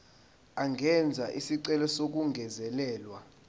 angenza isicelo sokungezelelwa